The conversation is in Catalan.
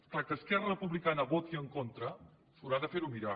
és clar que esquerra republicana hi voti en contra s’ho haurà de fer mirar